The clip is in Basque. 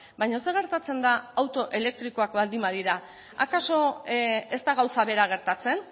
baina zer gertatzen da auto elektrikoak baldin badira akaso ez da gauza bera gertatzen